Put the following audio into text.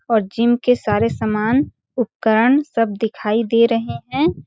और जिम के सारे सामान उपकरण सब दिखाई दे रहे हैं ।